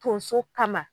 Tonso kama